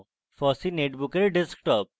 fossee netbook desktop